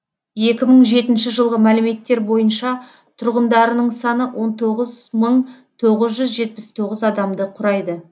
екі мың жетінші жылғы мәліметтер бойынша тұрғындарының саны он тоғыз мың тоғыз жүз жетпіс тоғыз адамды құрайды